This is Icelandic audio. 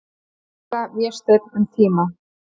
Gísla, Vésteinn, um tíma.